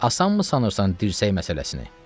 Asanmı sanırsan dirsək məsələsini?